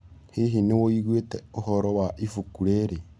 Hihi nĩũĩgũĩte ũhoro wa ĩbũkũ rĩrĩ?